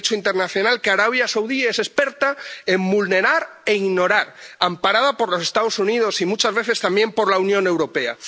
un Derecho internacional que Arabia Saudí es experta en vulnerar e ignorar, amparada por los Estados Unidos y muchas veces también por la Unión Europea.